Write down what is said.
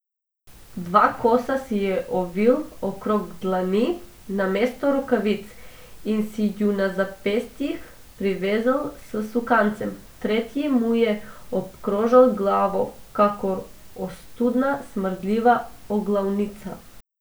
Dva kosa si je ovil okrog dlani namesto rokavic in si ju na zapestjih privezal s sukancem, tretji mu je obkrožal glavo kakor ostudna, smrdljiva oglavnica.